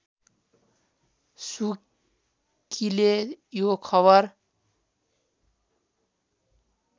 सुकीले यो खबर